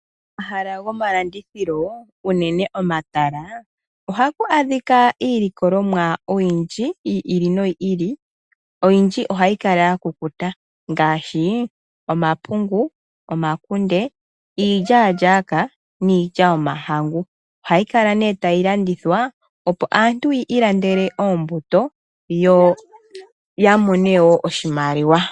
Omahala gomalandithilo unene omatala ohaku adhika iilikolomwa oyindji yi ili noyili, oyondji ohayi kala ya kukuta. Ngaashi omapungu, omakunde, iilyaalyaaka niilya yomahangu. Ohayi kala nee tayi landithwa opo aantu yi ilandele oombuto yo yamone woo oshimaliwa.